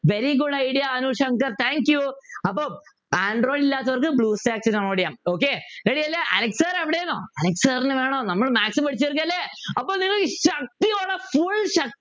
very good idea Anushankar thank you അപ്പൊ android ഇല്ലാത്തവർക്ക് ബ്ലൂസ്റ്റേക്ക് download ചെയ്യാം okay ready അല്ലെ അലക്സ് sir എവിടെ ന്നോ അലക്സ് sir നെ വേണോ നമ്മള് maths പേടിച്ചു തീർക്കല്ലേ അപ്പൊ നിങ്ങള് ശക്തിയോടെ full ശക്